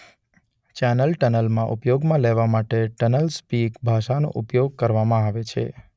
Channel ટનલમાં ઉપયોગમાં લેવા માટે ટનલસ્પિક ભાષાનો પ્રયોગ કરવામાં આવે છે.